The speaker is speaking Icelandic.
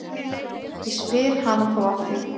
Ég spyr hana þá að því.